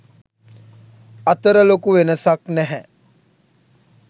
අතර ලොකු වෙනසක් නැහැ.